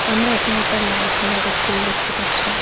আমরা এখানে একটা লাল কালারের ফুল দেখতে পাচ্ছি।